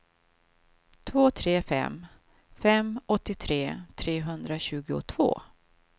två tre fem fem åttiotre trehundratjugotvå